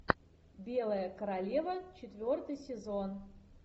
белая королева четвертый сезон